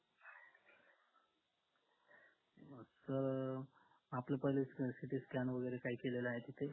अं आपल पहिल ct scan वगैरे काही केलेले आहेत की काही